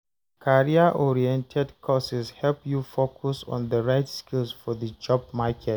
Career-oriented courses help you focus on the right skills for the job market.